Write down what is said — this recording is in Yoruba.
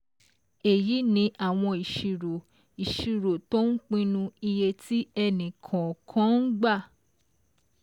Èyí ni àwọn ìṣirò ìṣirò tó ń pinu iye tí ẹnì kọ̀ọ̀kan ń gbà